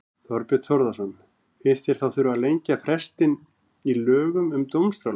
Þorbjörn Þórðarson: Finnst þér þá þurfa að lengja frestinn í lögum um dómstóla?